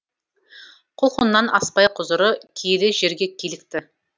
құлқыннан аспай құзыры киелі жерге килікті